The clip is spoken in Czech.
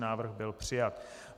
Návrh byl přijat.